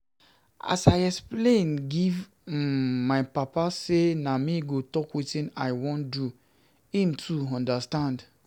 As I explain give um my papa sey na me go talk wetin I wan do, him too understand.